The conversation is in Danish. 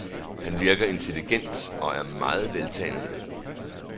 Han virker intelligent og er meget veltalende.